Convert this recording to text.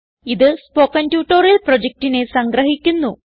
ഇതു spoken tutorial പ്രൊജക്റ്റിനെ സംഗ്രഹിക്കുന്നു